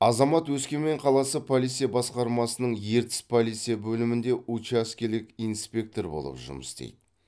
азамат өскемен қаласы полиция басқармасының ертіс полиция бөлімінде учаскелік инспектор болып жұмыс істейді